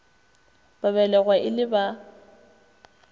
ba belegwa e le ba